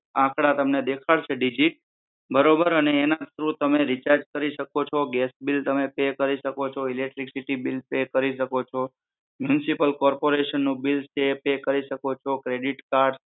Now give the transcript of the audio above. આંકડા દેખાડશે તમને ડિજિટ બરોબર અને એના થ્રુ તમે રિચાર્જ કરી શકો છો, ગેસ બિલ તમે પે કરી શકો છો, ઈલેક્ટ્રીસીટી બિલ પે કરી શકો છો, મ્યુનિસિપલ કોર્પોરેશનનું બિલ પે કરી શકો છો, ક્રેડિટ કાર્ડ આંકડા તમે